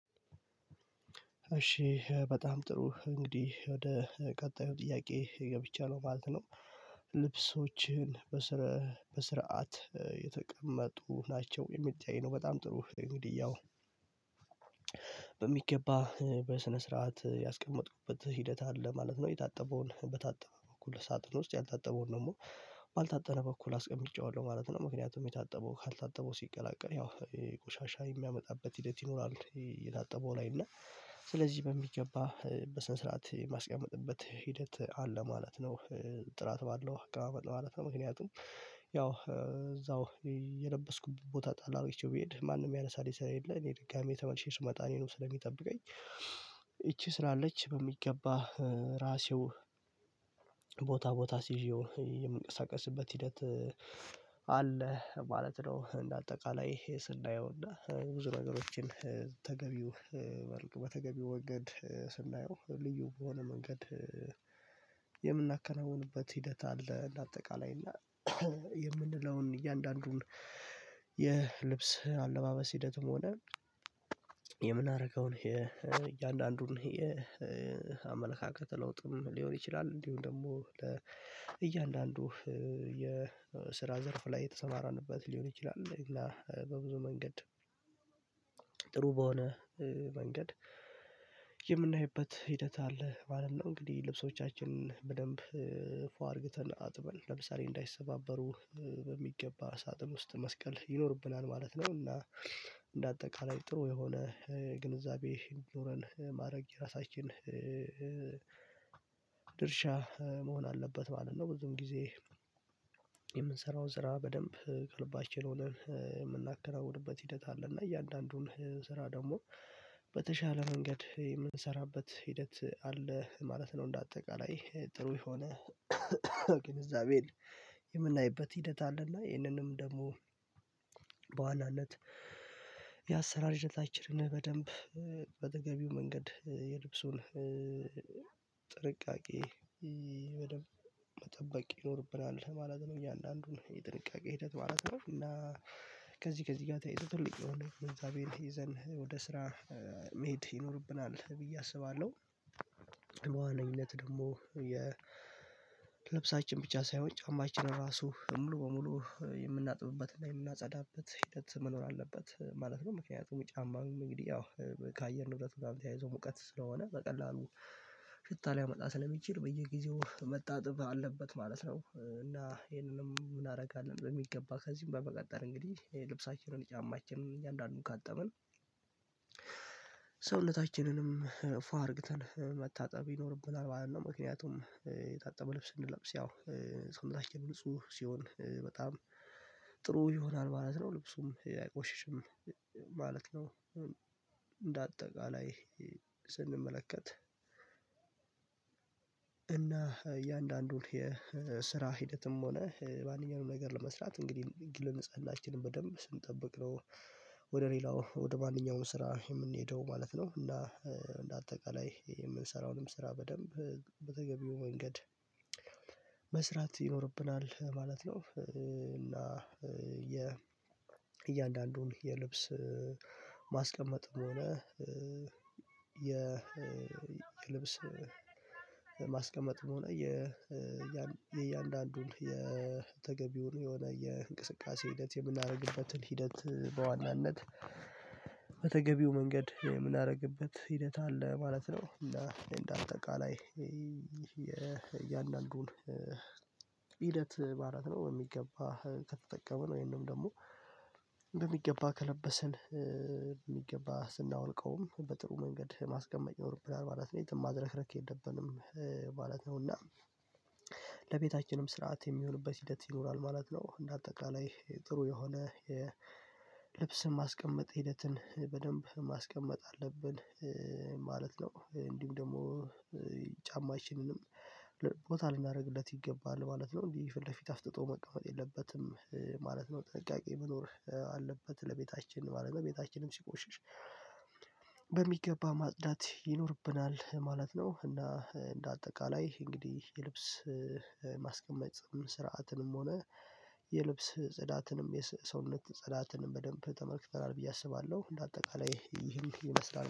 እሺ በጣም ጥሩ እንግዲህ ወደ ቀጣዩ ጥያቄ ገብቻለው ማለት ነው። ልብሶህችን በስርዓት የተቀመጡ ናቸው የሚታይ ነው። በጣም ጥሩ እንግዲህ ያው በሚገባ በስነ ስርዓት ያስቀመጥኩበት ሂደት አለ ማለት ነው። የታጠበውን በታጠበ በኩል ሳጥን ውስጥ ያልታጠበውን ደግሞ ባልታጠነ በኩል አስቀምጨዋለው ማለት ነው። ምክንያቱም የታጠበው ካልታጠበው ሲቀላቀል ያው ቆሻሻ የሚያመጣበት ሂደት ይኖራል። የታጠበው ላይ እና እና ስለዚህ በሚገባ በስነ ስርዓት የማስቀመጥበት ሂደት አለ ማለት ነው። ጥራት ባለው አቀማመጥ በማለት ነው። ምክንያቱም ያው እዛው የለበስኩት ቦታ ጣላሁ እቺው ቢሄድ ማንም የሚያነሳል ስለሌለ እኔ ድጋሚ የተመለሽኝ ስመጣኔ ነው ስለሚጠብቀኝ። ይቺ ስላለች በሚገባ ራሴው ቦታ ቦታ አስዠው የምንቀሳቀስበት ሂደት አለ ማለት ነው። እንደ አጠቃላይ ይሄ ስናየው እና ብዙ ነገሮችን ተገቢው በተገቢው መንገድ ስንናየው ልዩ በሆነ መንገድ የምናከናውንበት ሂደት አለ። እንደ አጠቃላይ እና የምንለውን እያንዳንዱን የልብስ አለባበስ ሂደትም ሆነ የምናደርገውን የእያንዳንዱን የአመለካከት ለውጥም ሊሆን ይችላል። እንዲሁ ደግሞ ለእያንዳንዱ የስራ ዘርፍ ላይ የተሰማራንበት ሊሆን ይችላል እና በብዙ መንገድ ጥሩ በሆነ መንገድ የምናይበት ሂደት አለ ማለት ነው። እንግዲህ ልብሶቻችንን በደንብ ፉ አድርግተን አጥበን ለምሳሌ እንዳይሰባበሩ በሚገባ ሳጥን ውስጥ መስቀል ይኖርብናል ማለት ነው። እና እንደ አጠቃላይ ጥሩ የሆነ ግንዛቤ እንዲኖረን ማረግ የራሳችን ድርሻ መሆን አለበት ማለት ነው። ብዙም ጊዜ የምንሰራው ስራ በደንብ ከልባችን ሆነን የምናከናውንበት ሂደት አለ እና እያንዳንዱን ስራ ደግሞ በተሻለ መንገድ የምንሰራበት ሂደት አለ ማለት ነው። እንደ አጠቃላይ ጥሩ የሆነ ግንዛቤ የምናይበት ሂደት አለና ይህንንም ደግሞ በዋናነት የአሰራር ሂደታኝን በደንብ በተገቢው መንገድ የልብሱን በደንብ መጠበቅ ይኖርብናል ማለት ነው። እያንዳንዱን የጥንቃቄ ሂደት ማለት ነው እና ከዚህ ከዚህ ጋር ተያይዞ ትልቅ የሆነ ግንዛቤን ይዘን ወደ ስራ መሄድ ይኖርብናል ብዬ አስባለሁ። በዋነኝነት ደግሞ የ ልብሳችን ብቻ ሳይሆን ጫማችን ራሱ ሙሉ በሙሉ የምናጥብበትና የምናጸዳበት ሂደት መኖር አለበት ማለት ነው። ምክንያቱም ጫማም እንግዲህ ያው ከአየር ንብረት ጋር ተያይዞ ሙቀት ስለሆነ በቀላሉ ሽታ ሊያመጣ ስለሚችል በየጊዜው መጣጥብ አለበት ማለት ነው። እና ይሄንንም እናደርጋለን በሚገባ ከዚህም በመቀጠር እንግዲህ ልብሳችንን ጫማችንን እያንዳንድ ካጠብን ሰውነታችንንም ፋ አድርግተን መታጠብ ይኖርብናል ማለት ነው። ምክንያቱም የታጠበ ልብስ ስንለብስ ያው ሰውነታቺን ንጹህ ሲሆን በጣም ጥሩ ይሆናል ማለት ነው። ልብሱም አይቆሽሽም ነው። እንደ አጠቃላይ ስንመለከት እና እያንዳንዱን የስራ ሂደትም ሆነ ማንኛውንም ነገር ለመስራት እንግዲህ የግል ንጽህናችንን በደንብ ስንጠብቅ ነው ወደ ሌላው ወደ ማንኛውም ስራ የምንሄደው ማለት ነው። እና እንደ አጠቃላይ የምንሰራውንም ስራ በደንብ በተገቢው መንገድ መስራት ይኖርብናል ማለት ነው። እና እያንዳንዱን የልብስ ማስቀመጥም ሆነ የልብስ ሆነ ያን የእያንዳንዱን የተገቢውን የሆነ የእንቅስቃሴ ሂደት የምናደርግበትን ሂደት በዋናነት በተገቢው መንገድ የምናደርግበት ሂደት አለ ማለት ነው። እና እንደ አንጠቃላይ የእያንዳንዱን ሂደት ማለት ነው በሚገባ ከተጠቀመን ወይምንም ደግሞ በሚገባ ከለበስን በሚገባ ስናወልቀውም በጥሩ መንገድ የማስቀመጥ ይኖርብናል ማለት ነው። የትም ማዝርክርክ የለብንም ማለት ነው። እና ለቤታችንም ስርዓት የሚሆንበት ሂደት ይኖራል ማለት ነው። እንደ አጠቃላይ ጥሩ የሆነ ልብስን ማስቀመጥ ሂደትን በደንብ ማስቀመጥ አለብን ማለት ነው። እንዲሁም ደግሞ ጫማቺንንም ቦታ ልናደርግለት ይገባል ማለት ነው። እንዲህ ፊት ለፊት አስጥቶ መቀመጥ የለበትም ማለት ነው። ጥንቃቄ መኖር አለበት ለቤታችን ማለት ነው። በቤታችንም ሲቆሽሽ በሚገባ ማጽዳት ይኖርብናል ማለት ነው። እና እንደ አጠቃላይ እንግዲህ የልብስ ማስቀመጫ ስርዓትንም ሆነ የልብስ ጽዳትንም ሰውነት ጽዳትንም በደንብ ተመልክተናል ብዬ አስባለሁ። እንደ አጠቃላይ ይህን ይመስላል